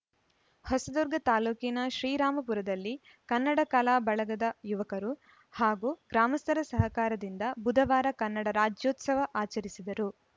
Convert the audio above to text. ಹೊಸದುರ್ಗ ತಾಲೂಕಿನ ಶ್ರೀರಾಂಪುರದಲ್ಲಿ ಕನ್ನಡ ಕಲಾ ಬಳಗದ ಯುವಕರು ಹಾಗೂ ಗ್ರಾಮಸ್ಥರ ಸಹಕಾರದಿಂದ ಬುಧವಾರ ಕನ್ನಡ ರಾಜ್ಯೋತ್ಸವ ಆಚರಿಸಿದರು